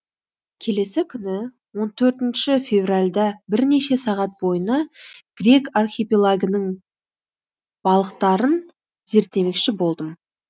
келесі күні он төртінші февральда бірнеше сағат бойына грек архипелагінің балықтарын зерттемекші болдым